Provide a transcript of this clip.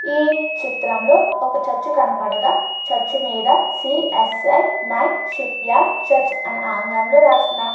ఈ చిత్రంలో ఒక చర్చ్ కనపడగా చర్చ్ మీద C S I my shepherd church అని ఆంగ్లంలో రాసిన --